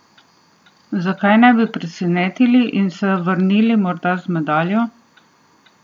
Zakaj ne bi presenetili in se vrnili morda z medaljo?